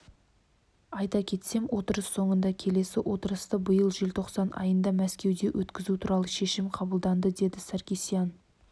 айта кетсем отырыс соңында келесі отырысты биыл желтоқсан айында мәскеуде өткізу туралы шешім қабылданды деді саркисян